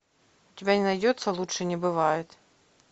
у тебя не найдется лучше не бывает